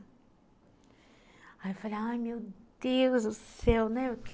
Aí eu falei, ai meu Deus do céu, né?